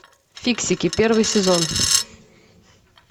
фиксики первый сезон